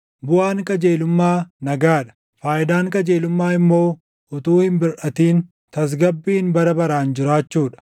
Buʼaan qajeelummaa nagaa dha; faayidaan qajeelummaa immoo utuu hin birʼatin tasgabbiin bara baraan jiraachuu dha.